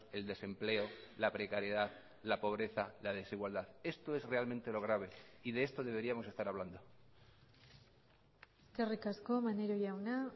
el desempleo la precariedad la pobreza la desigualdad esto es realmente lo grave y de esto deberíamos estar hablando eskerrik asko maneiro jauna